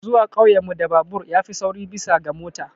Zuwa ƙauyen mu da babur ya fi sauri bisa ga mota.